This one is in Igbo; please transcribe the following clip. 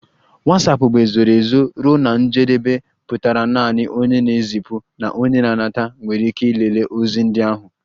Watsapụ bụ ezoro ezo ruo na njedebe pụtara naanị onye na-ezipụ na onye nata nwere ike ịlele ozi ndị ahụ